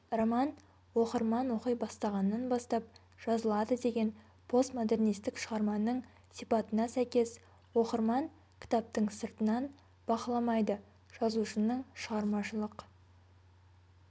роман оқырман оқи бастағаннан бастап жазылады деген постмодернистік шығарманың сипатына сәйкес оқырман кітаптың сыртынан бақыламайды жазушының шығармашылық